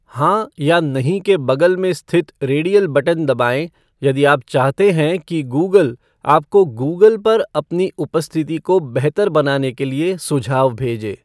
हाँ या नहीं के बगल में स्थित रेडियल बटन दबाएँ यदि आप चाहते हैं कि गूगल आपको गूगल पर अपनी उपस्थिति को बेहतर बनाने के लिए सुझाव भेजे।